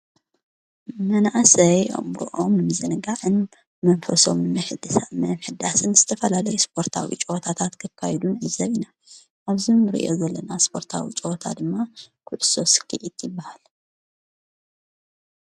መናእሰይ አእምሮኦም ንምዝንጋዕን መንፈሶም ንምሕዳስን ምሕዳስን ዝተፈላለየ ስፖርታዊ ጨወታታት ከካይዱ ን ኣዘቢ ኢና ኣብዝም ርእዮ ዘለና ስጶርታዊ ጨወታ ድማ ክድሶስኪ ይት ይበሃል